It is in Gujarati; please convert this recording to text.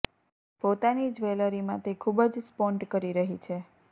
પોતાની જ્વેલરીમાં તે ખૂબ જ સ્પોન્ટ કરી રહી છે